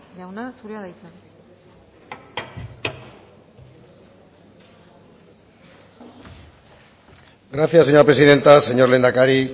jauna zurea da hitza gracias señora presidenta señor lehendakari